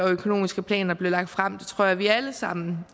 og økonomiske planer bliver lagt frem tror jeg vi alle sammen